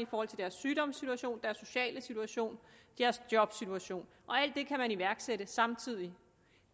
i forhold til deres sygdomssituation deres sociale situation deres jobsituation og alt det kan man iværksætte samtidig